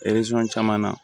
caman na